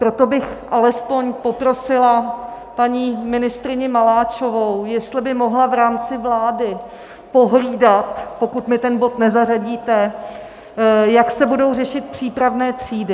Proto bych alespoň poprosila paní ministryni Maláčovou, jestli by mohla v rámci vlády pohlídat, pokud mi ten bod nezařadíte, jak se budou řešit přípravné třídy.